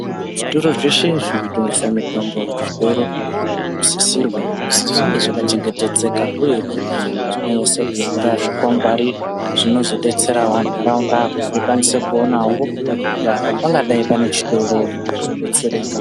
Zvitoro zveshe zvinotengese mitombo kuchitoro zvinosisirwa kuti zvinge zvakachengetedzeka uyehe zvakanyasa kunyora zvikwangwari zvinozodetsera ntaraunda kuti ikwanise kupona kuti apa pangadai pane chitoro muntu odetsereka.